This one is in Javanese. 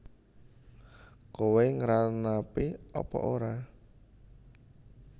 Kowe ngranapi apa ora